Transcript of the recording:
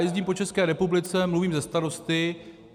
Jezdím po České republice, mluvím se starosty.